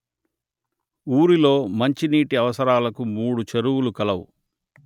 ఊరిలో మంచినీటి అవసరాలకు మూడు చెరువులు కలవు